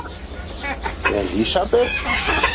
Elísabet